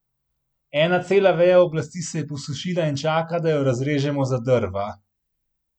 Ena cela veja oblasti se je posušila in čaka, da jo razrežemo za drva.